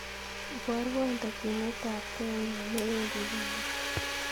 Iborwon tokyinetabge nyuun newendi konyunn